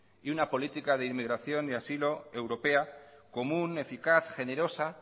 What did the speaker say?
y una política de inmigración y asilo europea común eficaz generosa